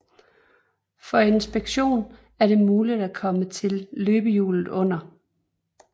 For inspektion er det mulig at komme til løbehjulet under